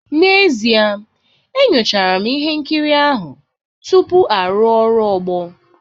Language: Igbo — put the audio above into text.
N'ezie, enyochara m ihe nkiri ahụ tupu arụ ọrụ ogbo